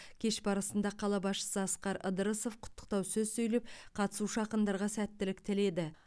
кеш барысында қала басшысы асқар ыдырысов құттықтау сөз сөйлеп қатысушы ақындарға сәттілік тіледі